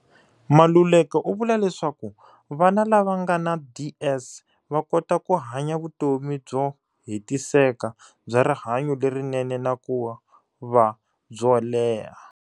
Maluleka u vula leswaku vana lava nga na DS va kota ku hanya vutomi byo he tiseka, bya rihanyu lerinene na ku va byo leha.